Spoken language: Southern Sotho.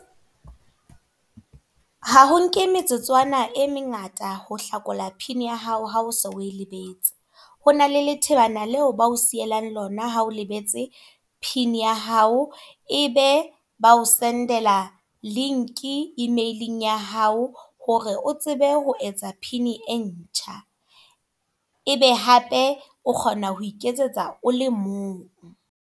Ha ho nke metsotswana e mengata ho hlakola pin ya hao ha o se o e lebetse. Ho na le thebana leo bao sielang lona ha o lebetse pin ya hao. E be ba o sendela link email-ng ya hao. Hore o tsebe ho etsa pina e ntjha. Ebe hape o kgona ho iketsetsa o le mong.